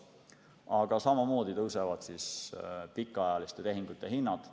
Aga samamoodi tõusevad pikaajaliste tehingute hinnad.